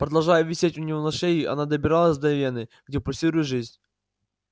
продолжая висеть у него на шее она добиралась до вены где пульсирует жизнь